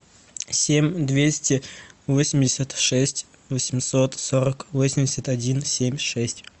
семь двести восемьдесят шесть восемьсот сорок восемьдесят один семь шесть